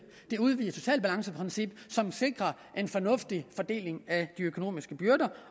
det udvidede socialbalanceprincip som sikrer en fornuftig fordeling af de økonomiske byrder